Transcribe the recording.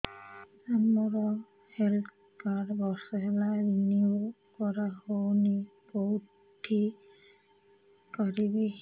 ସାର ମୋର health card ବର୍ଷେ ହେଲା ରିନିଓ କରା ହଉନି କଉଠି କରିବି